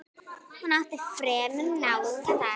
Hún átti fremur náðugan dag.